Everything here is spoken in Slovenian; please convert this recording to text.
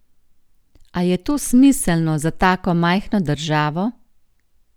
A je to smiselno za tako majhno državo?